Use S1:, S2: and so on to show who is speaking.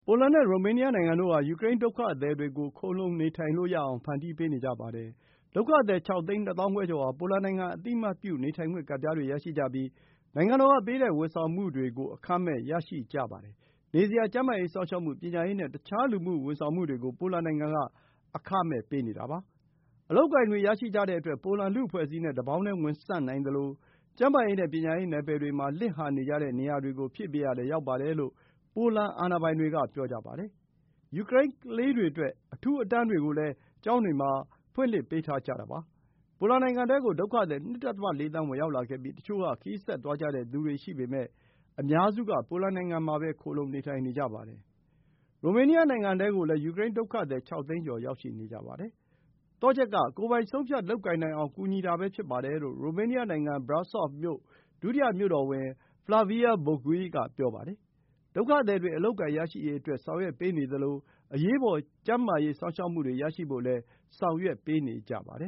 S1: ိုလန်နဲ့ ရိုမေးနီးယားနိုင်ငံတို့ဟာ ယူကရိန်း ဒုက္ခသည်တွေကို ခိုလှုံနေထိုင်လို့ရအောင် ဖန်တီးပေးနေကြပါတယ်။ ဒုက္ခသည် ၆ သိန်း ၂ သောင်း ခွဲကျော်ဟာ ပိုလန်နိုင်ငံ အသိအမှတ်ပြု နေထိုင်ခွင့်ကဒ်ပြားတွေရရှိကြပြီး နိုင်ငံတော်ကပေးတဲ့ ဝန်ဆောင်မှုတွေကို အခမဲ့ ရရှိကြပါတယ်။ နေစရာ၊ ကျန်းမာရေး စောင့်ရှောက်မှု၊ ပညာရေးနဲ့ တခြား လူမှုဝန်ဆောင်မှုတွေကို ပိုလန်နိုင်ငံက အခမဲ့ပေးပါတယ်။ အလုပ်အကိုင်တွေရရှိကြတဲ့အတွက် ပိုလန်လူ့အဖွဲ့အစည်းနဲ့ တပေါင်းတည်း ဝင်ဆန့်နိုင်သလို ကျန်းမာရေး နဲ့ ပညာရေးနယ်ပယ်တွေမှာ လစ်လပ်နေကြတဲ့ နေရာတွေကို ဖြည့်ပေးရာလည်း ရောက်ပါတယ်လို့ ပိုလန် အာဏာပိုင်တွေက ပြောကြပါတယ်။ ယူကရိန်းကလေးတွေအတွက် အထူးအတန်းတွေကိုလည်း ကျောင်းတွေမှာ ဖွင့်လှစ်ပေးထားကြတာပါ။ ပိုလန်နိုင်ငံထဲကို ဒုက္ခသည် ၂.၄ သန်း ဝင်ရောက်လာခဲ့ပြီး တချို့က ခရီးဆက်သွားကြတဲ့သူတွေရှိပေမယ့် အများစုက ပိုလန်နိုင်ငံမှာပဲ ခိုလှုံနေထိုင်နေကြပါတယ်။ ရိုမေးနီးယားနိုင်ငံထဲကိုလည်း ယူကရိန်း ဒုက္ခသည် ၆ သိန်းကျော် ရောက်ရှိနေကြပါတယ်။ သော့ချက်က ကိုယ်ပိုင် ဆုံးဖြတ်လုပ်ကိုင်နိုင်အောင် ကူညီတာပဲ ဖြစ်ပါတယ်လို့ ရိုမေးနီးယားနိုင်ငံ Brasov မြို့ ဒုတိယ မြို့တော်ဝန် Flavia Boghiu က ပြောပါတယ်။ ဒုက္ခသည်တွေ အလုပ်အကိုင်ရရှိရေးအတွက် ဆောင်ရွက်ပေးနေသလို အရေးပေါ် ကျန်းမာရေး စောင့်ရှောက်မှုရရှိဖို့အတွက်လည်း ဆောင်ရွက်ပေးနေကြပါတယ်